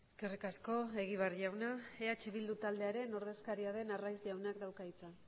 eskerrik asko egibar jauna eh bildu taldearen ordezkaria den arraiz jaunak dauka hitza